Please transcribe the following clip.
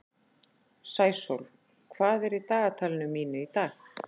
Sæsól, hvað er í dagatalinu mínu í dag?